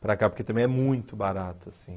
Para cá, porque também é muito barato, assim.